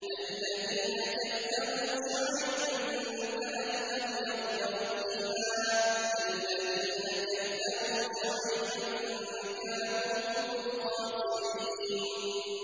الَّذِينَ كَذَّبُوا شُعَيْبًا كَأَن لَّمْ يَغْنَوْا فِيهَا ۚ الَّذِينَ كَذَّبُوا شُعَيْبًا كَانُوا هُمُ الْخَاسِرِينَ